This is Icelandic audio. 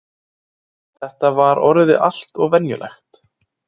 Þetta var orðið allt of venjulegt.